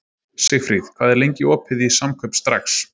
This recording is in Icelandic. Sigfríð, hvað er lengi opið í Samkaup Strax?